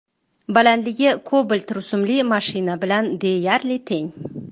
Balandligi Cobalt rusumli mashina bilan deyarli teng.